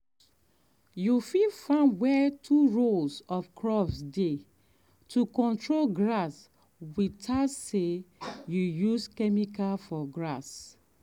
you fit farm where two rows of crops dey to control grass without say you use chemical for grass.